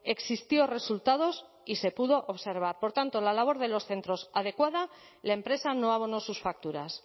existió resultados y se pudo observar por tanto la labor de los centros adecuada la empresa no abonó sus facturas